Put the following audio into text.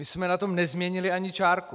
My jsme na tom nezměnili ani čárku.